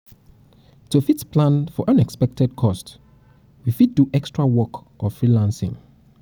to fit um plan for unexpected cost we fit do extra work or freelancing